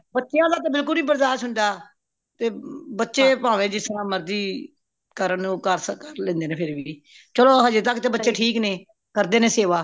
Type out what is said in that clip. ਬੱਚਿਆਂ ਦਾ ਤਾ ਬਿਲਕੁਲ ਵੀ ਨਹੀਂ ਬਰਦਾਸ਼ ਹੋਂਦਾ ਤੇ ਬੱਚੇ ਪਾਵੇ ਜਿਸਤਰਾਂ ਮਰਜ਼ੀ ਕਰਨ ਉਹ ਕਰ ਲੈਂਦੇ ਨੇ ਫੇਰ ਵੀ ਚਲੋ ਹਜ਼ੇ ਤਕ ਤਾ ਬੱਚੇ ਠੀਕ ਨੇ ਕਰਦੇ ਨੇ ਸੇਵਾ